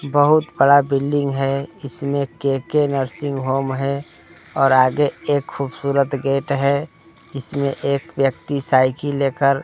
बहुत बड़ा बिल्डिंग है इसमें के_के नर्सिंग होम है और आगे एक खूबसूरत गेट है इसमें एक व्यक्ति साइकिल लेकर--